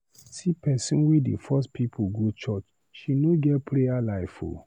See pesin wey dey force pipu go church, she no get prayer life o.